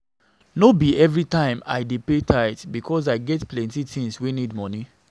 No be everytime I dey pay tithe because I get plenty tins wey need moni.